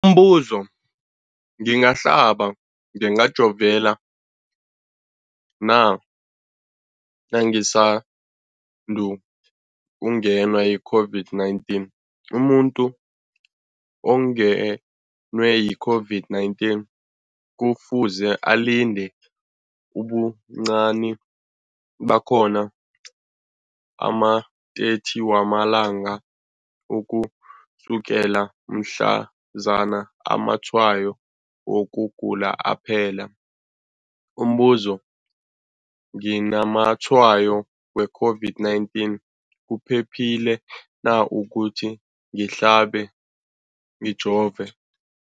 Umbuzo, ngingahlaba, ngingajova na nangisandu kungenwa yi-COVID-19? Umuntu ongenwe yi-COVID-19 kufuze alinde ubuncani bakhona ama-30 wama langa ukusukela mhlazana amatshayo wokugula aphela. Umbuzo, nginamatshayo we-COVID-19, kuphephile na ukuthi ngihlabe, ngijove?